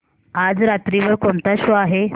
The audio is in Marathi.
आज रात्री वर कोणता शो आहे